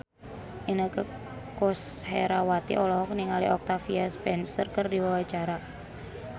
Inneke Koesherawati olohok ningali Octavia Spencer keur diwawancara